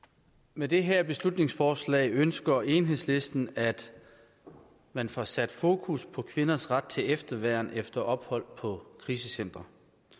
med det her beslutningsforslag ønsker enhedslisten at man får sat fokus på kvinders ret til efterværn efter ophold på krisecenter